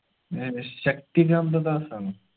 ഏർ Shaktikanta ദാസാണോ